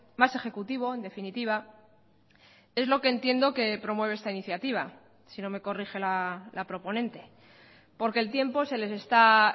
más ejecutivo en definitiva es lo que entiendo que promueve esta iniciativa si no me corrige la proponente porque el tiempo se les está